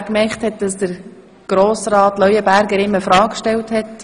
Ob Regierungsrat Neuhaus gemerkt hat, dass Grossrat Leuenberger ihm eine Frage gestellt hat?